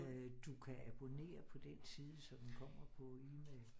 Du kan abonnere på den side så den kommer på email